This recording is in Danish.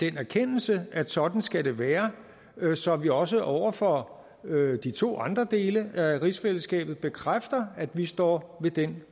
erkendelse at sådan skal det være så vi også over for de to andre dele af rigsfællesskabet bekræfter at vi står ved den